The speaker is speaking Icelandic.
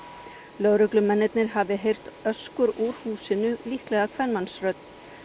lögreglumennirnir hafi heyrt öskur úr húsinu líklega kvenmannsrödd